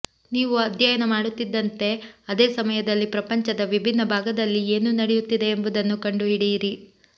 ನೀವು ಅಧ್ಯಯನ ಮಾಡುತ್ತಿದ್ದಂತೆ ಅದೇ ಸಮಯದಲ್ಲಿ ಪ್ರಪಂಚದ ವಿಭಿನ್ನ ಭಾಗದಲ್ಲಿ ಏನು ನಡೆಯುತ್ತಿದೆ ಎಂಬುದನ್ನು ಕಂಡುಹಿಡಿಯಿರಿ